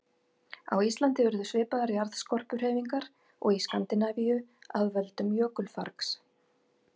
Á Íslandi urðu svipaðar jarðskorpuhreyfingar og í Skandinavíu af völdum jökulfargs.